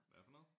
Hvad for noget?